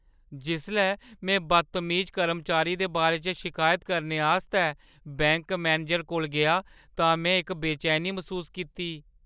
जिसलै में बदतमीज कर्मचारी दे बारे च शिकायत करने आस्तै बैंक मैनेजरै कोल गेआ तां में इक बेचैनी मसूस कीती।